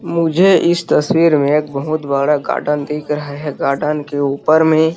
मुझे इस तस्वीर में एक बहुत बड़ा गार्डन दिख रहा है गार्डन के ऊपर में --